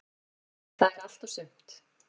Það er allt og sumt.